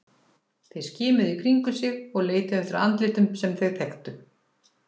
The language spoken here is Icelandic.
Þeir skimuðu í kringum sig og leituðu eftir andlitum sem þeir þekktu.